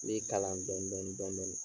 N b'i kalan dɔndɔni dɔndɔni.